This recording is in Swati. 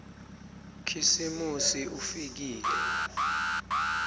khisimusi ufikile